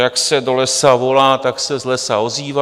Jak se do lesa volá, tak se z lesa ozývá.